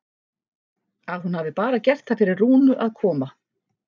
Að hún hafi bara gert það fyrir Rúnu að koma.